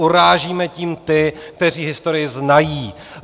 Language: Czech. Urážíme tím ty, kteří historii znají.